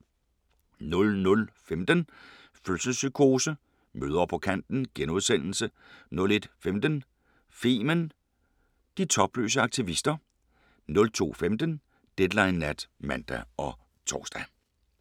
00:15: Fødselspsykose: Mødre på kanten * 01:15: Femen: De topløse aktivister 02:15: Deadline Nat (man og tor)